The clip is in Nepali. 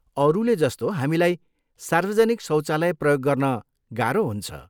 अरूले जस्तो हामीलाई सार्वजनिक शौचालय प्रयोग गर्न गाह्रो हुन्छ।